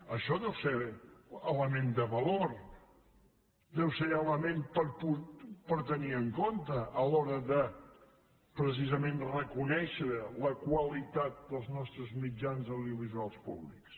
això deu ser element de valor deu ser element a tenir en compte a l’hora de precisament reconèixer la qualitat dels nostres mitjans audiovisuals públics